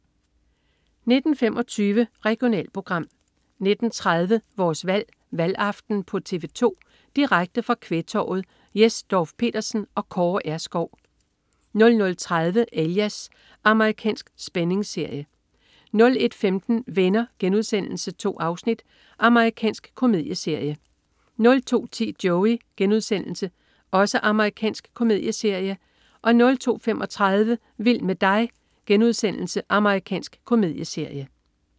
19.25 Regionalprogram 19.30 Vores Valg: Valgaften på TV 2. Direkte fra Kvægtorvet. Jes Dorph-Petersen og Kaare R. Skou 00.30 Alias. Amerikansk spændingsserie 01.15 Venner.* 2 afsnit. Amerikansk komedieserie 02.10 Joey.* Amerikansk komedieserie 02.35 Vild med dig.* Amerikansk komedieserie